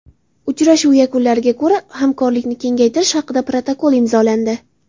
Uchrashuv yakunlariga ko‘ra hamkorlikni kengaytirish haqida protokol imzolandi.